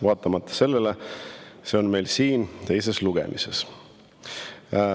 Vaatamata sellele see on meil siin teisel lugemisel.